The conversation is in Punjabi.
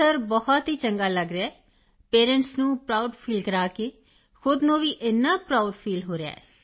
ਸਰ ਬਹੁਤ ਚੰਗਾ ਲੱਗ ਰਿਹਾ ਹੈ ਪੇਰੈਂਟਸ ਨੂੰ ਪ੍ਰਾਉਡ ਫੀਲ ਕਰਾ ਕੇ ਖੁਦ ਨੂੰ ਵੀ ਇੰਨਾ ਪ੍ਰਾਉਡ ਫੀਲ ਹੋ ਰਿਹਾ ਹੈ